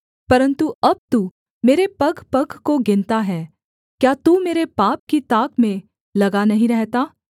परन्तु अब तू मेरे पगपग को गिनता है क्या तू मेरे पाप की ताक में लगा नहीं रहता